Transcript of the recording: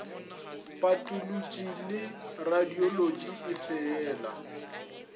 patolotši le radiolotši e feela